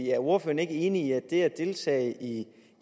er ordføreren ikke enig i at det at deltage i